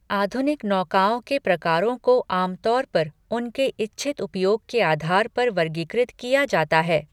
आधुनिक नौकाओं के प्रकारों को आम तौर पर उनके इच्छित उपयोग के आधार पर वर्गीकृत किया जाता है।